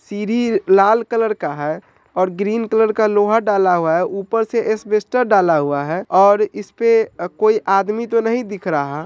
सीढ़ी लाल कलर का है और ग्रीन कलर का लोहा डाला हुआ है ऊपर से एस्बेस्टस डाला हुआ है और इस पे अ कोई आदमी तो नहीं दिख रहा।